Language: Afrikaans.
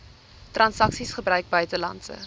transaksies gebruik buitelandse